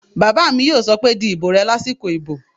Bàbá mi yóò sọ pé "di ìbò rẹ lásìkò ìbò!"